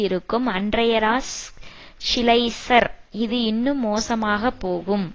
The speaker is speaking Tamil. இருக்கும் அன்ட்ரையாஸ் ஷிலைஸர் இது இன்னும் மோசமாகப் போகும்